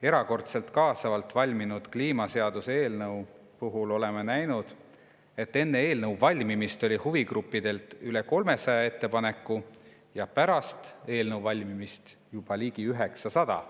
Erakordselt kaasavalt valminud kliimaseaduse eelnõu puhul oleme näinud, et enne eelnõu valmimist oli huvigruppidelt üle 300 ettepaneku ja pärast eelnõu valmimist juba ligi 900.